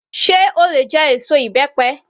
Sé o lè jẹ èso ìbẹ́pẹ?